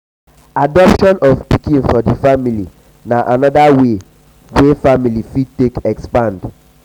adoption of pikin for di family na anoda way wey wey family fit take expand